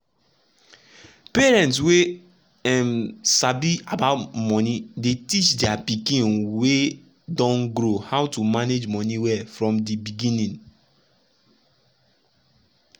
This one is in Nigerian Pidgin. parents wey um sabi about money dey teach dia pikin wey don grow how to manage money well from di beginning.